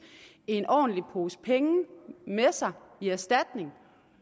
en ordentlig pose penge med sig i erstatning